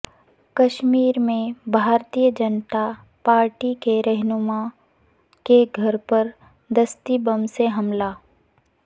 کشمیر میں بھارتیہ جنتا پارٹی کے رہنما کے گھر پر دستی بم سے حملہ